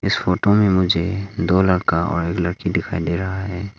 इस फोटो में मुझे दो लड़का और एक लड़की दिखाई दे रहा है।